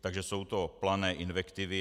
Takže jsou to plané invektivy.